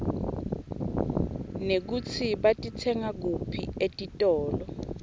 nekutsi batitsenga kuphi etitolo